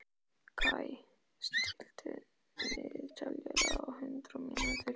Kaj, stilltu niðurteljara á hundrað mínútur.